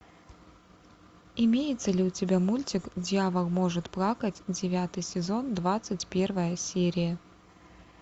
имеется ли у тебя мультик дьявол может плакать девятый сезон двадцать первая серия